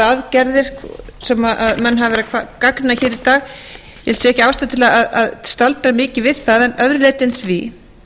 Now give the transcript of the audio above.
aðgerðir sem menn hafa verið að gagnrýna í dag ég sé ekki ástæðu til að staldra mikið við það að öðru leyti en því